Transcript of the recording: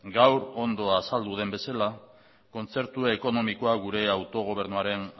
gaur ondo azaldu den bezala kontzertu ekonomikoa gure autogobernuaren